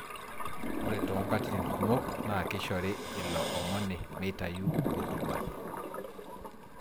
Ore toonkatitin kumok naa kishore ilo omoni meitayu otuba